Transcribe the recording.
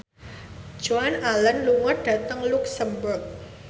Joan Allen lunga dhateng luxemburg